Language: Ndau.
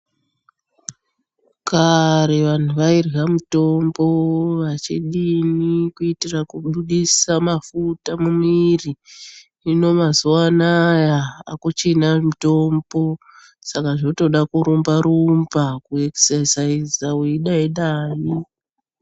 Kare vantu vairya mitombo vachidini kuitira kubudisa mafuta mumwiri. Hino mazuva anawa akuchina mitombo saka zvotoda kurumba rumba kuekisesaiza weidai dai.